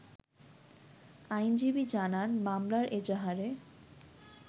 আইনজীবী জানান, মামলার এজাহারে